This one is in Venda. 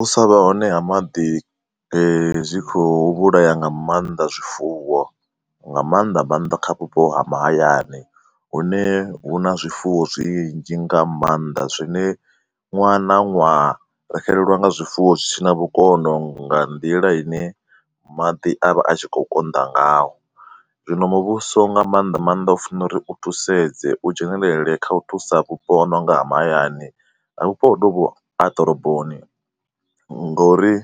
U sa vha hone ha maḓi eh zwi kho u vhulaya nga maanda zwifuwo, nga maanḓa maanḓa kha vhupo ha mahayani. Hune hu na zwifuwo zwinzhi nga maanḓa zwine ṅwaha na ṅwaha ri xelelwa nga zwifuwo zwi si na vhukono nga nḓila ine maḓi a vha a tshi kho u konḓa ngaho. Zwino muvhuso nga maanḓa maanḓa u funa uri u thusedz, a u dzhenelele kha u thusa vhupo hu no nga ha mahayani. Vhupo honovho ha ḓoroboni ngauri